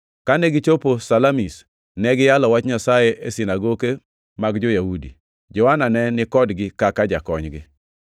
Kane gichopo Salamis, ne giyalo Wach Nyasaye e sinagoke mag jo-Yahudi. Johana ne ni kodgi kaka jakonygi.